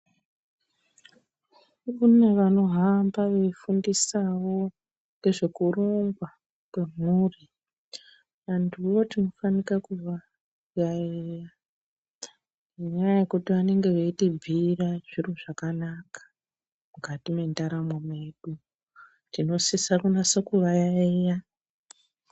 Kune vanohamba veifundisawo ngezvekurongwa kwemhuri vanduvo tinofanika kuvayaiya ngenyaya yekuti vanenge veitibhira zviro zvakanaka mukati mendaramo mwedu tinosisa kunase kuvayaiya.